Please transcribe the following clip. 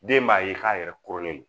Den b'a ye k'a yɛrɛ koronnen don